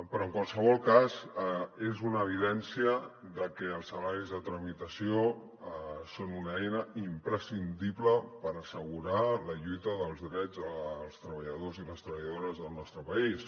però en qualsevol cas és una evidència que els salaris de tramitació són una eina imprescindible per assegurar la lluita dels drets dels treballadors i les treballadores del nostre país